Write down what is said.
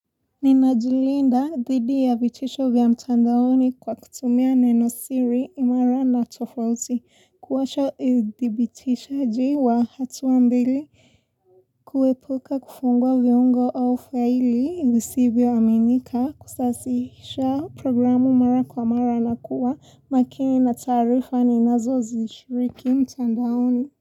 Nina jilinda dhidi ya vitisho vya mtandaoni kwa kutumia neno siri imara na tofauti. Kuwasha idhibitishaji wa hatua mbili kuepuka kufungua viongo au faili visivyoaminika kusasihisha programu mara kwa mara na kuwa makini na taarifa ninazo zishiriki mtandaoni.